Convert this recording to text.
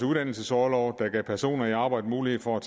uddannelsesorlov der gav personer i arbejde mulighed for